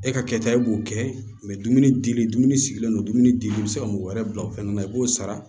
E ka kɛta ye k'o kɛ dumuni dili dumuni sigilen don dumuni dimi bi se ka mɔgɔ wɛrɛ bila o fɛnɛ na i b'o sara